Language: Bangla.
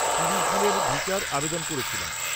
-তিরিশ দিনের ভিসার আবেদন করেছিলাম।